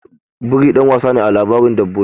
Biri ɗan wasa ne a labaran dabbobi.